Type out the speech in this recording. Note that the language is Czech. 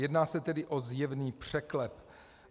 Jedná se tedy o zjevný překlep.